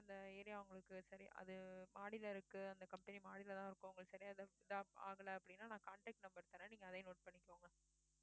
அந்த area உங்களுக்கு சரி அது மாடில இருக்கு. அந்த company மாடிலதான் இருக்கும் உங்களுக்கு சரியா ஆகல அப்படின்னா நான் contact number தரேன் நீங்க அதையும் note பண்ணிக்கோங்க